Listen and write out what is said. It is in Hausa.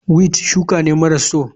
Weed shuka ne maras so.